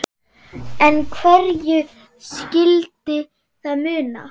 En hverju skyldi það muna?